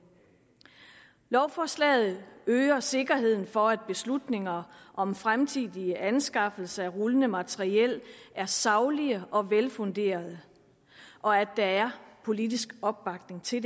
lovforslaget øger sikkerheden for at beslutninger om fremtidige anskaffelser af rullende materiel er saglige og velfunderede og at der er politisk opbakning til